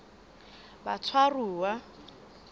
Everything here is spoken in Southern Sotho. batshwaruwa